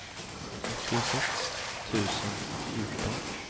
nittiosex tusen fjorton